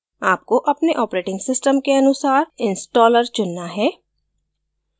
आपको अपने operating system के अनुसार installer चुनना है